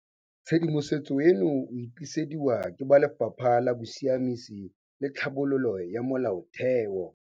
Tshedimosetso eno o e tlisediwa ke ba Lefapha la Bosiamisi le Tlhabololo ya Molaotheo.